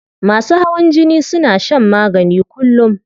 Masu hawan jini suna shan magani kullum